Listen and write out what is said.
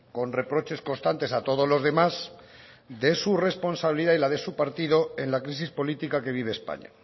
con reproches constantes a todos los demás de su responsabilidad y la de su partido en la crisis política que vive españa